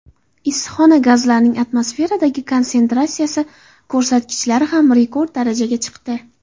Issiqxona gazlarining atmosferadagi konsentratsiyasi ko‘rsatkichlari ham rekord darajaga chiqdi.